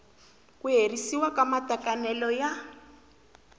ku herisiwa ka matekanelo ya